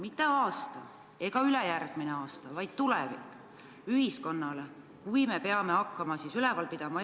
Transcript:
Mitte järgmisel ega ülejärgmisel aastal, vaid kaugemas tulevikus, kui me peame eakaid üleval pidama.